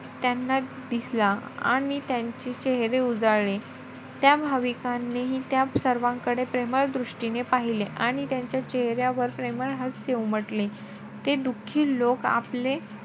त्यांना दिसला आणि त्यांचे चेहरे उजाळले. त्या भाविकांनीही त्या सर्वांकडे प्रेमळ दृष्टीने पाहिले. आणि त्यांच्या चेहऱ्यावर प्रेमळ हास्य उमटले. ते दुखी लोक आपले,